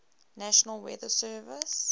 national weather service